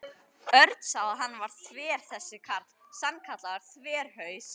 Örn sá að hann var þver þessi karl, sannkallaður þverhaus.